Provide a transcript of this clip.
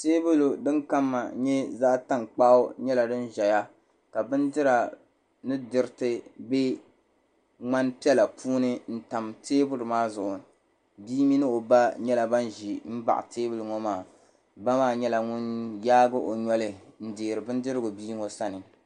Teebuli din kama nyɛ zaɣ tankpaɣu nyɛla din ʒɛya ka bindira ni diriti bɛ ŋmani piɛla puuni n tam teebuli maa zuɣu bia mini o ba nyɛla ban ʒi n baɣali ba maa nyɛla ŋun yaagi o noli n deeri bindirigu bia ŋo sani